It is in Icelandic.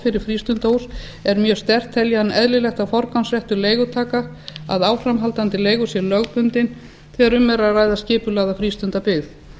fyrir frístundahús er mjög sterkt telji hann eðlilegt að forgangsréttur leigutaka af áframhaldandi leigu sé lögbundinn þegar um er að ræða skipulagða frístundabyggð